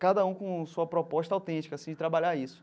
Cada um com sua proposta autêntica assim de trabalhar isso.